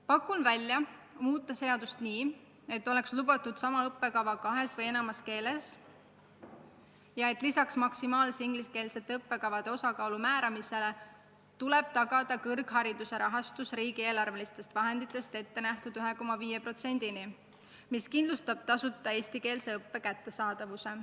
Pakun välja: muuta seadust nii, et oleks lubatud sama õppekava kahes või enamas keeles ja et lisaks ingliskeelsete õppekavade maksimaalse osakaalu määramisele tuleb tagada kõrghariduse rahastus riigieelarvest ette nähtud 1,5%-ni, mis kindlustab tasuta eestikeelse õppe kättesaadavuse.